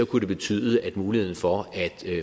kunne det betyde at muligheden for at